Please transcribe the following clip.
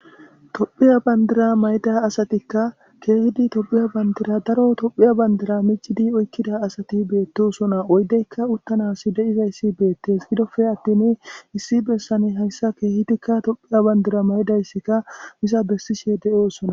Tophiya bandira mayida asatika keehidi etiyoophiya bandira daro etiyoophiya bandira miccidi oykida asati beetosona oydeyka uttanasi de'izayssi beetes gidoppe attin issi bessani hayssa keehidikka tophiya bandira mayidaysika iza bessishe de'osona.